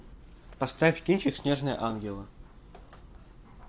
поставь кинчик снежные ангелы